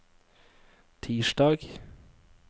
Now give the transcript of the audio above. tirsdag